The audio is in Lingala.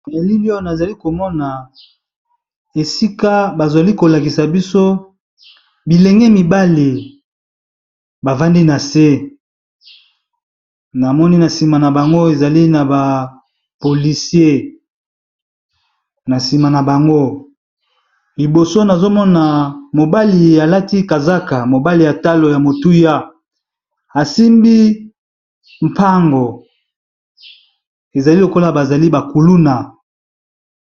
Elili azali komona esika bazali kolakisa biso bilenge mibali bavandi na se na moni na nsima na bango ezali na bapolisier na nsima na bango liboso nazomona mobali alati kazaka mobali ya talo ya motuya asimbi mpango ezali lokola bazali bakuluna.